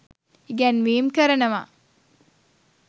ඉගැන්වීම් කරනවා.